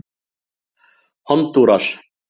Hondúras